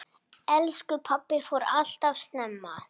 Elsku pabbi fór alltof snemma.